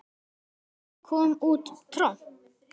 Af hverju kom út tromp?